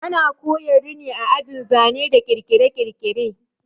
Ana koya rini a ajin zane da kirkire-kirkire